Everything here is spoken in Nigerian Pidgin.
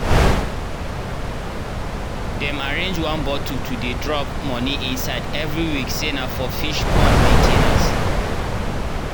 dem arrange one bottle to dey drop moni inside every week say na for fish pond main ten ance.